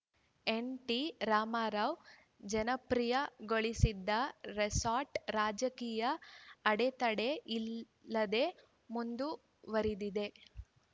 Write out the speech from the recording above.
ಎನ್‌ಟಿರಾಮರಾವ್‌ ಜನಪ್ರಿಯಗೊಳಿಸಿದ ರೆಸಾರ್ಟ್‌ ರಾಜಕೀಯ ಅಡೆತಡೆ ಇಲ್ಲದೆ ಮುಂದುವರಿದಿದೆ